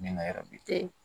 Min na yɔrɔ bɛ kɛ